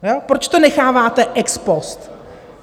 Proč to necháváte ex post?